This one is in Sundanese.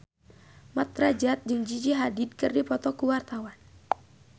Mat Drajat jeung Gigi Hadid keur dipoto ku wartawan